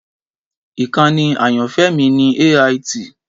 Ìkànnì ayanfẹ mi ni AIT.